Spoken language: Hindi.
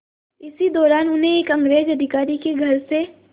इसी दौरान उन्हें एक अंग्रेज़ अधिकारी के घर से